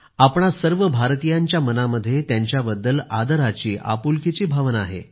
आपणा सर्व भारतीयांच्या मनामध्ये त्यांच्याबद्दल आदराची आपुलकीची भावना आहे